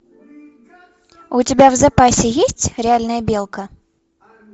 у тебя в запасе есть реальная белка